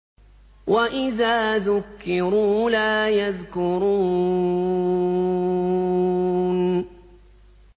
وَإِذَا ذُكِّرُوا لَا يَذْكُرُونَ